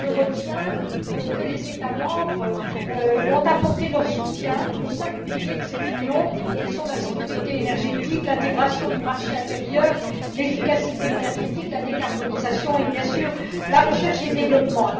Je retiens que les États membres ont apporté leur soutien aux cinq piliers de cette union que sont la sécurité énergétique, l'intégration du marché intérieur, l'efficacité énergétique, la décarbonisation et, bien sûr, la recherche et le développement.